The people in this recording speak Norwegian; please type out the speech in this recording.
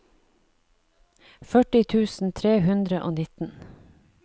førti tusen tre hundre og nitten